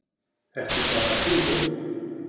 Ekki bara sími